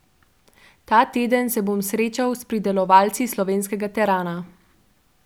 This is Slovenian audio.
Ta teden se bom srečal s pridelovalci slovenskega terana.